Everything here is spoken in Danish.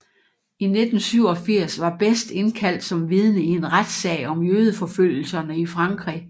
I 1987 var Best indkaldt som vidne i en retssag om jødeforfølgelserne i Frankrig